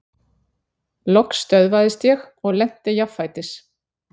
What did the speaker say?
Loks stöðvaðist ég og lenti jafnfætis.